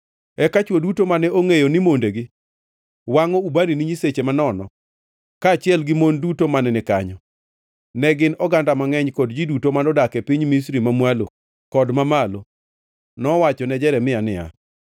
Eka chwo duto mane ongʼeyo ni mondegi wangʼo ubani ne nyiseche manono, kaachiel gi mon duto mane ni kanyo, ne gin oganda mangʼeny, kod ji duto manodak e piny Misri Mamwalo kod Mamalo, nowachone Jeremia niya,